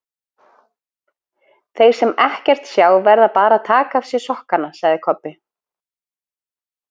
Þeir sem ekkert sjá verða bara að taka af sér sokkana, sagði Kobbi.